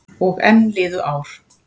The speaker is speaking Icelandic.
Og enn liðu ár.